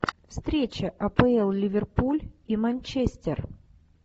встреча апл ливерпуль и манчестер